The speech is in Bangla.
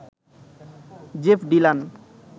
Jeff Dylan